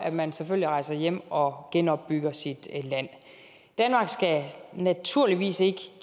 at man selvfølgelig rejser hjem og genopbygger sit land danmark skal naturligvis ikke